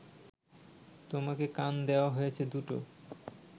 তোমাকে কান দেওয়া হয়েছে দুটো